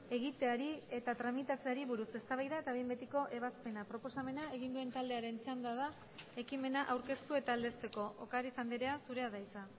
egiteari eta tramitatzeari buruz eztabaida eta behin betiko ebazpena proposamena egin duen taldearen txanda da ekimena aurkeztu eta aldezteko ocariz andrea zurea da hitza